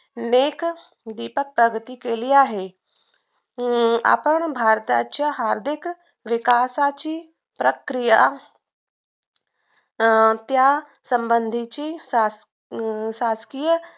नेत्रदीपक प्रगती केली आहे आणि आपण भारताच्या आर्थिक विकासाची प्रक्रिया अं त्या संधीची अं शासकीय